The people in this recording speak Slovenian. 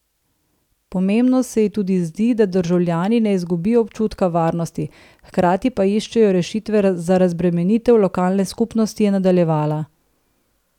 Pomembno se ji tudi zdi, da državljani ne izgubijo občutka varnosti, hkrati pa iščejo rešitve za razbremenitev lokalne skupnosti, je nadaljevala.